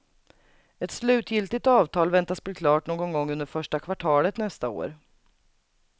Ett slutgiltigt avtal väntas bli klart någon gång under första kvartalet nästa år.